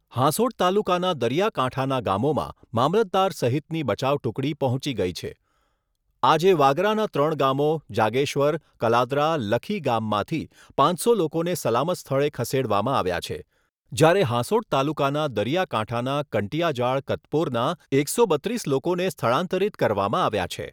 હાંસોટ તાલુકાના દરિયાકાંઠાના ગામોમાં મામલતદાર સહિતની બચાવ ટુકડી પહોંચી ગઈ છે આજે વાગરાના ત્રણ ગામો જાગેશ્વર કલાદરા લખીગામમાંથી પાંચસો લોકોને સલામત સ્થળે ખસેડવામાં આવ્યા છે જ્યારે હાંસોટ તાલુકાના દરિયાકાંઠાના કંટીયાજાળ કતપોરના એકસો બત્રીસ લોકોને સ્થળાંતરિત કરવામાં આવ્યા છે.